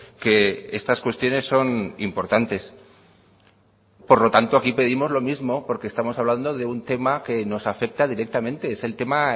que estas cuestiones son importantes por lo tanto aquí pedimos lo mismo porque estamos hablando de un tema que nos afecta directamente es el tema